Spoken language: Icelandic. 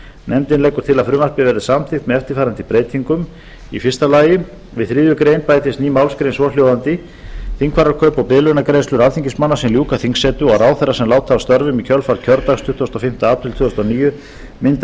nefndin leggur til að frumvarpið verði samþykkt með eftirfarandi breytingum fyrstu við þriðju grein bætist ný málsgrein svohljóðandi þingfararkaup og biðlaunagreiðslur alþingismanna sem ljúka þingsetu og ráðherra sem láta af störfum í kjölfar kjördags tuttugasta og fimmta apríl tvö þúsund og níu mynda